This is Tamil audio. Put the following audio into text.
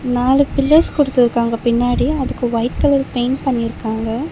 நாலு பில்லர்ஸ் குடுத்துருக்காங்க பின்னாடி அதுக்கு ஒயிட் கலர் பெயிண்ட் பண்ணிருக்காங்க.